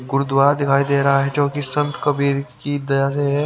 गुरुद्वा दिखाई दे रहा है जो कि संत कबीर की दया है।